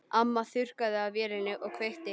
Amma þurrkaði af vélinni og kveikti.